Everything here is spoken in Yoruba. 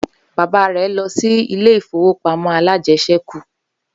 Baba rẹ̀ lọ sí ilé ìfowópamọ́ alájẹsẹ́kù